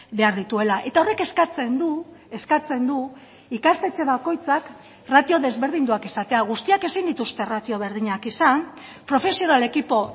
behar dituela eta horrek eskatzen du eskatzen du ikastetxe bakoitzak ratio desberdinduak izatea guztiak ezin dituzte ratio berdinak izan profesional ekipo